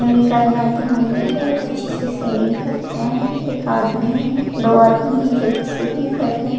Shaving करने आते होंगे बहुत अच्छे से शेविंग कर रहे है एक आदमी है दो आदमी हैं जो कि शेविंग कर रहे हैं।